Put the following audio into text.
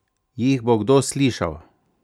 Jih bo kdo slišal?